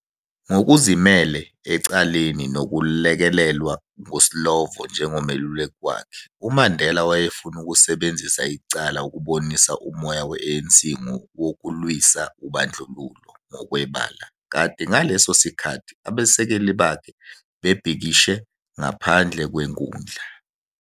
Ngokuzimele ecaleni nokulekelelwa nguSlovo njengomeluleki wakhe, uMandela wayefuna ukusebenzisa icala ukubonisa umoya we-ANC wokulwisa ubandlululo ngokwebala, kanti ngaleso sikhathi abasekeli bakhe bebhikishe ngaphandle kwenkundla.